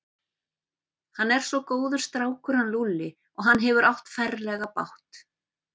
Hann er svo góður strákur hann Lúlli og hann hefur átt ferlega bágt.